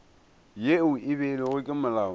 yeo e beilwego ke molao